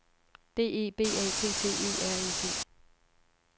D E B A T T E R E T